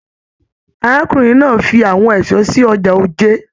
Arákùnrin náà fí àwọn èso sí ọjà Òjé.